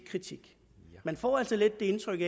kritik man får altså lidt det indtryk